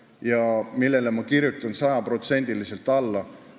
Ma kirjutaksin sellele sajaprotsendiliselt alla.